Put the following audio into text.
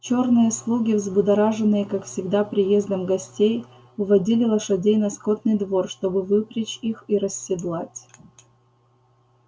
чёрные слуги взбудораженные как всегда приездом гостей уводили лошадей на скотный двор чтобы выпрячь их и расседлать